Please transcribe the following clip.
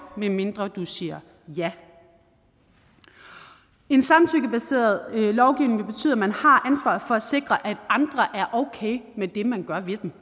medmindre du siger ja en samtykkebaseret lovgivning vil betyde at man har ansvaret for at sikre at andre er okay med det man gør ved dem